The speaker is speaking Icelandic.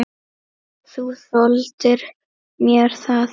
Þú þoldir mér það þó.